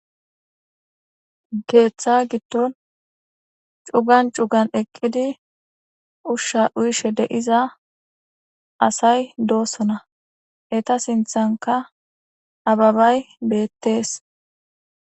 Keeththa giddon cugan cugan eqqidi ushsha uyishe deiza asay doosona eta sinthanka ababay beettees.